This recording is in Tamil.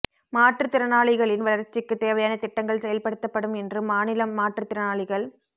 மாற்றுத்திறனாளிகளின் வளர்ச்சிக்குத் தேவையான திட்டங்கள் செயல்படுத்தப்படும் என்று மாநில மாற்றுத் திறனாளிகள்